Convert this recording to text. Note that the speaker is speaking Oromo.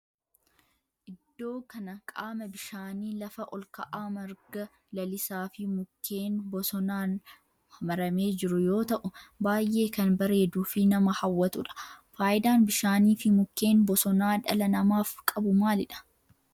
Iddoo kana qaama bishaanii lafa olka'aa marga lalisaa fi mukkeen bosonaan marfamee jiru yoo ta'u baayyee kan bareeduu fi nama hawwatudha. Faayidaan bishaanii fi mukkeen bosonaa dhala namaaf qabu maalidha?